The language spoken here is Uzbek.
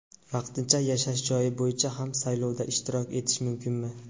Vaqtincha yashash joyi bo‘yicha ham saylovda ishtirok etish mumkinmi?.